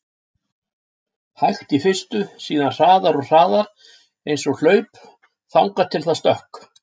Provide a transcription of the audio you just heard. hægt í fyrstu, síðan hraðar og hraðar, eins og hlaup, þangað til það stökk!